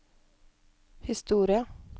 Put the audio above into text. historie